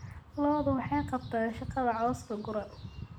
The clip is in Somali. Lo'du waxay qabtaan shaqada cawska guran.